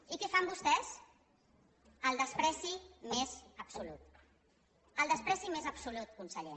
i què fan vostès el menyspreu més absolut el menyspreu més absolut conseller